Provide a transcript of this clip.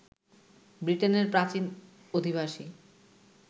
ব্রিটেনের প্রাচীন অধিবাসী